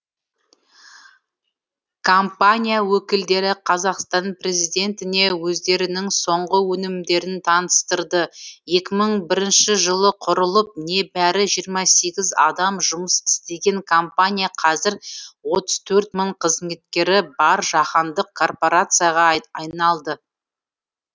компания өкілдері қазақстан президентіне өздерінің соңғы өнімдерін таныстырды екі мың бірінші жылы құрылып небәрі жиырма сегіз адам жұмыс істеген компания қазір отыз төрт мың қызметкері бар жаһандық корпорацияға айналды